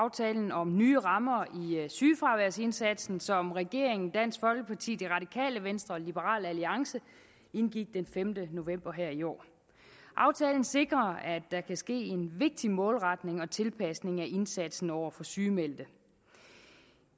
aftalen om nye rammer for sygefraværsindsatsen som regeringen dansk folkeparti det radikale venstre og liberal alliance indgik den femte november her i år aftalen sikrer at der kan ske en vigtig målretning og tilpasning af indsatsen over for sygemeldte